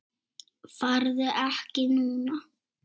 Farðu ekki núna!